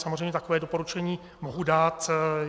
Samozřejmě, takové doporučení mohu dát.